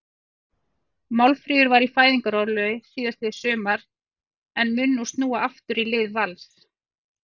Málfríður var í fæðingarorlofi síðastliðið sumar en mun nú snúa aftur í lið Vals.